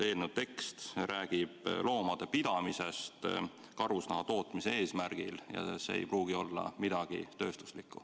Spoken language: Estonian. Eelnõu tekst räägib loomade pidamisest karusnaha tootmise eesmärgil ja see ei pruugi olla midagi tööstuslikku.